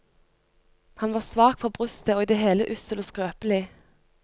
Han var svak for brystet og i det hele ussel og skrøpelig.